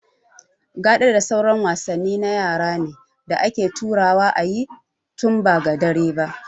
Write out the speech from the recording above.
Gaɗa da sauran wasanni na yara ne da ake taruwa a yi tun ba da dare ba